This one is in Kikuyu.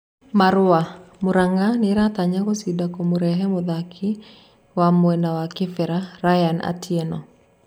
(marũa) Muranga nĩratanya gũcinda kũmũrehe mũthaki wa mwena wa Kibera Ryan Atieno